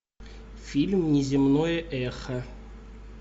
фильм неземное эхо